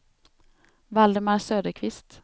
Valdemar Söderqvist